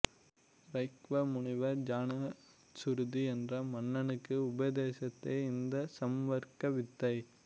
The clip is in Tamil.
ரைக்வ முனிவர் ஜானச்சுருதி என்ற மன்னனுக்கு உபதேசித்ததே இந்த சம்வர்க வித்தை